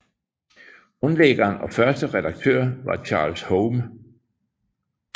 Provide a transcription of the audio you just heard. Grundlæggeren og første redaktør var Charles Holme